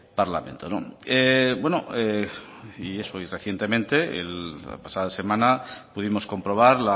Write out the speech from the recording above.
parlamento no bueno y eso recientemente la pasada semana pudimos comprobar